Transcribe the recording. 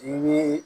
I ye